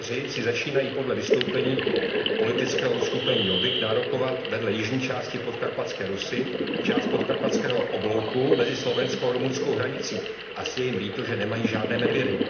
Maďaři si začínají podle vystoupení politického uskupení Jobbik nárokovat vedle jižní části Podkarpatské Rusi část podkarpatského oblouku mezi slovensko rumunskou hranicí asi je jim líto, že nemají žádné medvědy.